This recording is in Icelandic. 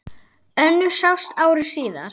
Önnur sást ári síðar.